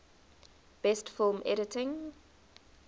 best film editing